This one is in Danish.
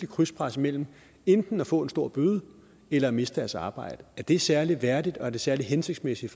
krydspres mellem enten at få en stor bøde eller at miste deres arbejde er det særlig værdigt og er det særlig hensigtsmæssigt